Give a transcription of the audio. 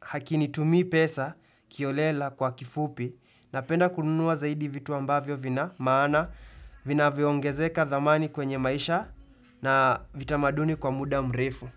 hakinitumii pesa kiholela kwa kifupi, napenda kununua zaidi vitu ambavyo vina maana vinavyo ongezeka dhamani kwenye maisha na vitamaduni kwa muda mrefu.